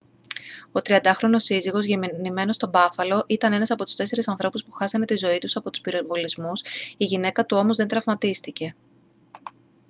ο 30χρονος σύζυγος γεννημένος στο μπάφαλο ήταν ένας από τους τέσσερις ανθρώπους που χάσανε τη ζωή τους από τους πυροβολισμούς η γυναίκα του όμως δεν τραυματίστηκε